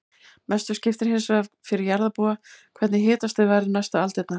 Mestu skiptir hins vegar fyrir jarðarbúa hvernig hitastig verður næstu aldirnar.